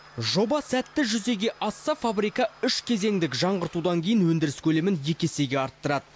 жоба сәтті жүзеге асса фабрика үш кезеңдік жаңғыртудан кейін өндіріс көлемін екі есеге арттырады